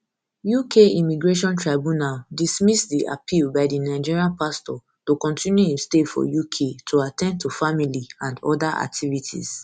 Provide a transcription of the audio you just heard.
uk immigration tribunal dismiss di appeal by di nigerian pastor to continue im stay for uk to at ten d to family and oda activities